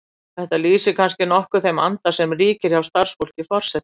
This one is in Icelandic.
Þetta lýsir kannski nokkuð þeim anda sem ríkir hjá starfsfólki forseta.